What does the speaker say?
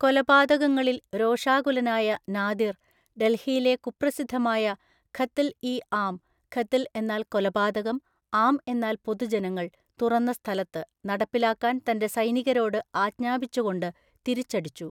കൊലപാതകങ്ങളിൽ രോഷാകുലനായ നാദിർ, ഡൽഹിയിലെ കുപ്രസിദ്ധമായ ഖത്ൽ ഇ ആം (ഖത്ൽ എന്നാൽ കൊലപാതകം, ആം എന്നാൽ പൊതുജനങ്ങൾ, തുറന്ന സ്ഥലത്ത്) നടപ്പിലാക്കാൻ തൻ്റെ സൈനികരോട് ആജ്ഞാപിച്ചുകൊണ്ട് തിരിച്ചടിച്ചു.